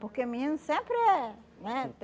Porque menino sempre é, não é?